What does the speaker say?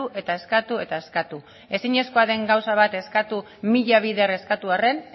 eta eskatu eta eskatu ezinezkoa den gauza bat eskatu mila bider eskatu arren